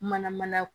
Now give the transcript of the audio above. Mana mana